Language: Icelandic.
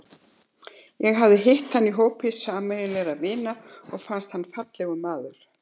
Ég hafði hitt hann í hópi sameiginlegra vina og fannst hann fallegur maður.